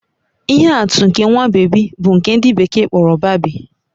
Ihe atụ nke nwa bébí bụ nke ndị bekee kpọrọ babii